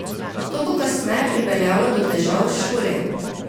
To bo kasneje pripeljalo do težav v šoli.